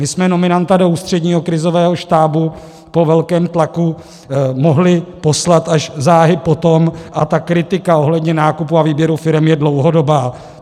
My jsme nominanta do Ústředního krizového štábu po velkém tlaku mohli poslat až záhy po tom, a kritika ohledně nákupu a výběru firem je dlouhodobá.